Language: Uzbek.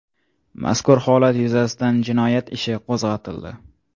Mazkur holat yuzasidan jinoyat ishi qo‘zg‘atildi.